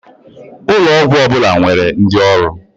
Ụlọ ọgwọ ọbụla nwere ndi ọrụ.